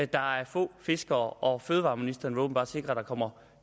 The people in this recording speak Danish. der er få fiskere og fødevareministeren vil åbenbart sikre at der kommer